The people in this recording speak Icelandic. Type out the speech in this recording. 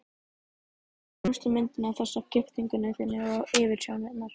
Við skoðuðum fremstu myndina, þessa af giftingunni þinni og yfirsjónarinnar.